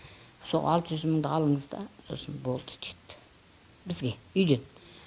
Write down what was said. сол алты жүз мыңды алыңызда сосын болды деді бізге үйден